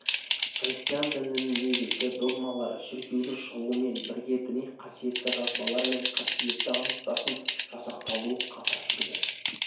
христиан дінінің негізгі догмалары шіркеудің шығуымен бірге діни қасиетті жазбалар мен қасиетті аңыздардың жасақталуы катар жүрді